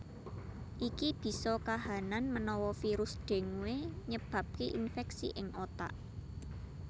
Iki bisa kahanan menawa virus dengue nyebabke infeksi ing otak